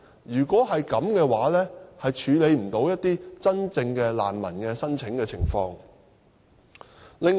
如果是這樣，將無法處理一些真正難民提出的申請。